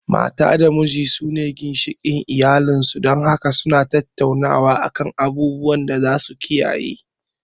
Mata da miji su ne ginshikin iyalin su, dan haka su na tattaunawa a kan abubuwan da za su kiyaye